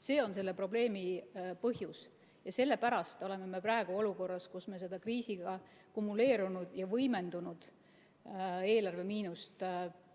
See on selle probleemi põhjus ja sellepärast oleme me praegu olukorras, kus me seda kriisiga kumuleerunud ja võimendunud eelarvemiinust